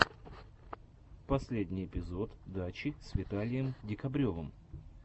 последний эпизод дачи с виталием декабревым